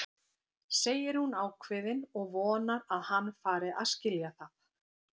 segir hún ákveðin og vonar að hann fari að skilja það.